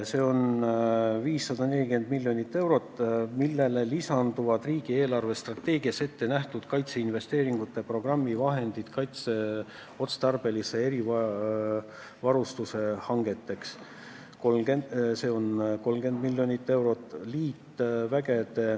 See on 540 miljonit eurot, millele lisanduvad riigi eelarvestrateegias ette nähtud kaitseinvesteeringute programmi vahendid kaitseotstarbelise erivarustuse hangeteks, see on 30 miljonit eurot.